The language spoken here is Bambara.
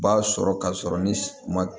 B'a sɔrɔ ka sɔrɔ ni ma